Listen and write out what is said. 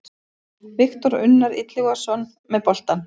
Viktor Unnar Illugason með boltann.